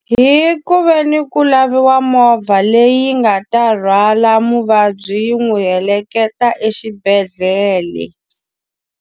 Hi ku ve ni ku laviwa movha leyi nga ta rhwala muvabyi yi n'wi heleketa exibedhlele.